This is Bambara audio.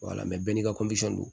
wala mɛ bɛɛ n'i ka